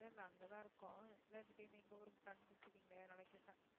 இல்ல இல்ல அங்கதான் இருக்கோம் இல்லதிடீருன்னு எங்க ஊருக்கு plan போட்டுருக்கீங்களே அதனால கேட்டேன்